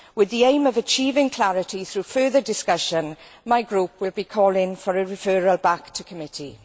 With the aim of achieving clarity through further discussion, my group will be calling for a referral back to committee.